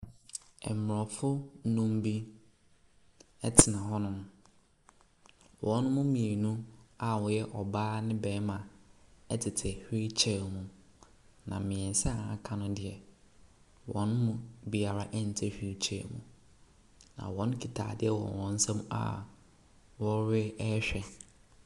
Mmorɔfo nnum bi tena hɔnom. Wɔn mu mmienu a wɔyɛ ɔbaa ne barima tete wheelchair mu, na mmeɛnsa a wɔaka no deɛ, wɔn mu biara nte wheelchair mu, na wɔkuta adeɛ wɔ wɔn nsam a wɔrehwɛ.